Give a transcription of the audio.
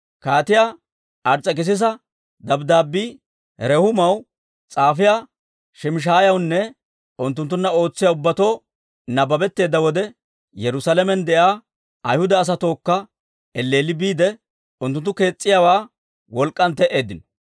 Kaatiyaa Ars's'ekisisa dabddaabbii Rehuumaw, s'aafiyaa Shimshshaayawunne unttunttunna ootsiyaa ubbatoo nabbabetteedda wode, Yerusaalamen de'iyaa Ayhuda asatuwaakko elleelli biide, unttunttu kees's'iyaawaa wolk'k'an te"eeddino.